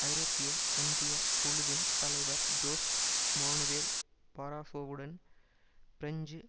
ஐரோப்பிய ஒன்றிய குழுவின் தலைவர் ஜோஸ் மானுவேல் பராசோவுடன் பிரெஞ்சு